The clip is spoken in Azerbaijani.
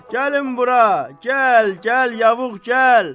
Gəlin bura, gəl, gəl yavuğ gəl!